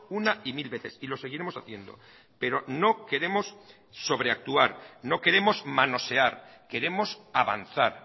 una y mil veces y lo seguiremos haciendo pero no queremos sobreactuar no queremos manosear queremos avanzar